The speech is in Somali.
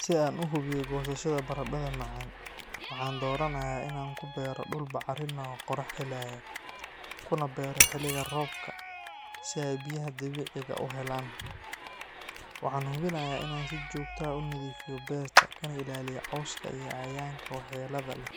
Si aan u hubiyo goosashada baradadha macaan, waxaan dooranayaa in aan ku beero dhul bacrin ah oo qorrax heleya, kuna beero xilliga roobka si ay biyaha dabiiciga ah u helaan. Waxaan hubinayaa in aan si joogto ah u nadiifiyo beerta kana ilaaliyo cawska iyo cayayaanka waxyeellada leh.